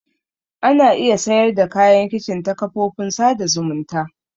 Ana iya sayar da kayan kicin ta kafofin sada zumunta.